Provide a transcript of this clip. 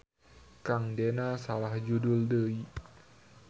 Kang dena salah judul deui.